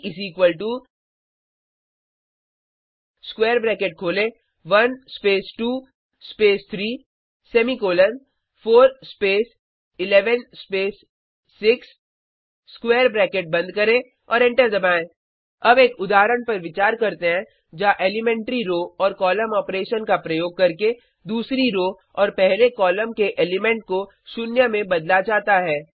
प square bracket खोलें 1 space 2 space 3 semicolon 4 space 11 space 6 square bracket बंद करें और एंटर दबाएँ अब एक उदाहरण पर विचार करते हैं जहाँ एलीमेंट्री रो और कॉलम ऑपरेशन का प्रयोग करके दूसरी रो और पहले कॉलम के एलिमेंट को शून्य में बदला जाता है